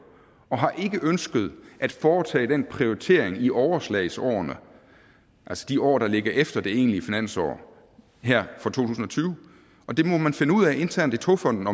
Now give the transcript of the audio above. og har ikke ønsket at foretage den prioritering i overslagsårene altså de år der ligger efter det egentlige finansår her fra to tusind og tyve og det må man finde ud af internt i togfonden